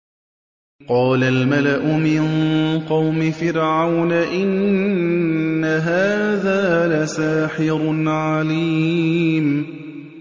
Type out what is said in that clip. قَالَ الْمَلَأُ مِن قَوْمِ فِرْعَوْنَ إِنَّ هَٰذَا لَسَاحِرٌ عَلِيمٌ